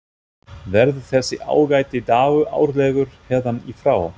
Verður þessi ágæti dagur árlegur héðan í frá?